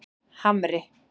Hamri